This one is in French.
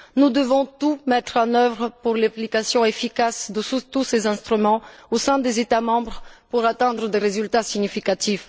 Nous devons tout mettre en œuvre pour l'application efficace de tous ces instruments au sein des États membres pour obtenir des résultats significatifs.